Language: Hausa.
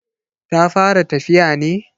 Ta fara tafiya ne?